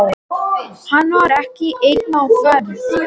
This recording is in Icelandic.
Hann var ekki einn á ferð.